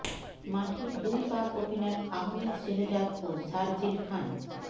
মাঠে দুই পাক ওপেনার আহমেদ শেহজাদ ও সারজিল খান